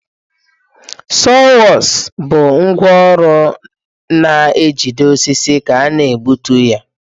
Sawhorsu bụ ngwá ọrụ na-ejide osisi ka ị na-egbutu ya.